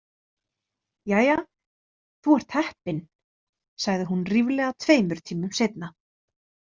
Jæja, þú ert heppin, sagði hún ríflega tveimur tímum seinna.